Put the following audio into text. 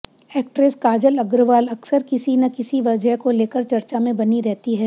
actress Kajal Agarwal अक्सर किसी न किसी वजह को लेकर चर्चा में बनी रहती हैं